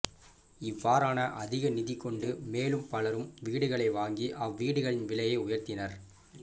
இவ்வாறான அதிக நிதி கொண்டு மேலும் பலரும் வீடுகளை வாங்கி அவ்வீடுகளின் விலையை உயர்த்தினர்